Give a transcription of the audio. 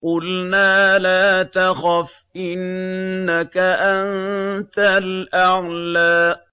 قُلْنَا لَا تَخَفْ إِنَّكَ أَنتَ الْأَعْلَىٰ